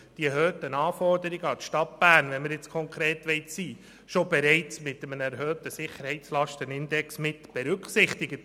die erhöhten Anforderungen an die Stadt Bern sind, wenn wir konkret sein wollen, bereits mit einem erhöhten Sicherheitslastenindex mitberücksichtigt.